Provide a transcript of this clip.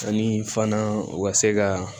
Ani fana u ka se ka